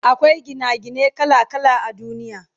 Akwai Gina gine kala kala a duniya